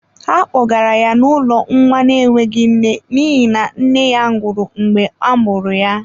Ha kpogara ya n’ụlọ nwa na-enweghị nne n’ihi na nne ya nwụrụ mgbe a mụrụ ya.